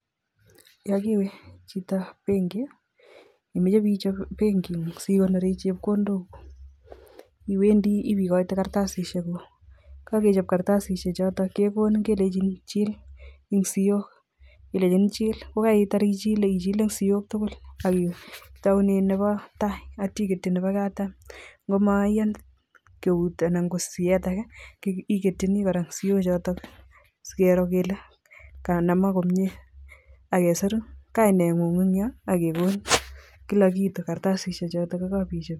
Yoon kowechito benki, yoon imoche ibechob benking'ung sikonoren chepkondok iwendi ibeikoite kartasishekuk, yekokechob kartasishechoton kekonin kelenchin chil eng' siok kelenchin chil kokaitar ichile, ichilen silk tukul ak itounen nebo taai akityo inyoiketyi nebo katam, ngomoyen eut anan ko soet akee iketyini kora siochotok sikiro kelee kanamak komnye ak kesiru kaineng'ung en yoon ak kekonin kilak kitu kartasishe chotok kokabechob.